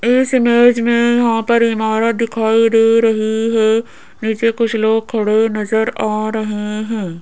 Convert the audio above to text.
इस इमेज में यहां पर इमारत दिखाई दे रही है नीचे कुछ लोग खड़े नजर आ रहे हैं।